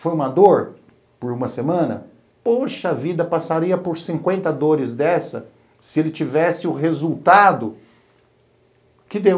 Foi uma dor por uma semana, poxa vida, passaria por cinquenta dores dessa se ele tivesse o resultado que deu.